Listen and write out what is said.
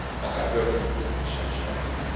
akár börtönbüntetéssel is járhat.